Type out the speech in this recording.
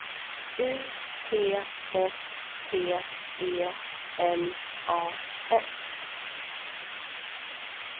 U T S P E L A S